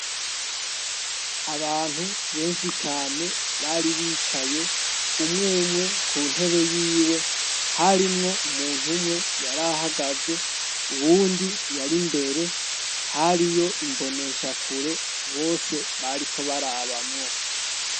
Abantu benshi cane bari bicaye umwoumwe ku ntebe yiwe harimwo umuntu umwe yarahagaze uwundi yari mbere hari yo imboneshakure bose bariko barabamwo.